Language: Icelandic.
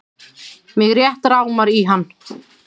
Mig rétt rámar í hann.